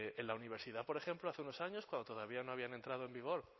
en la universidad por ejemplo hace unos años cuando todavía no habían entrado en vigor